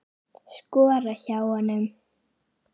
Skora hjá honum??